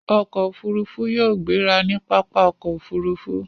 Ọkọ̀ òfurufú yóò gbéra ní pápá okoofurufu